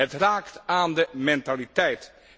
Het raakt aan de mentaliteit.